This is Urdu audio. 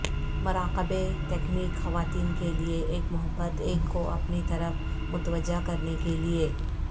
مراقبے تکنیک خواتین کے لئے ایک محبت ایک کو اپنی طرف متوجہ کرنے کے لئے